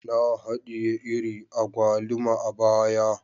Na hadiye iri agwaluma a baya